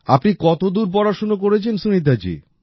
আপনি কত দূর পড়াশোনা করেছেন সুনীতা জি